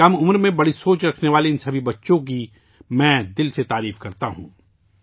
کم عمر میں بڑی سوچ رکھنے والے ان سبھی بچوں کی میں دل سے تعریف کرتا ہوں